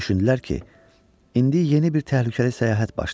Düşündülər ki, indi yeni bir təhlükəli səyahət başlayır.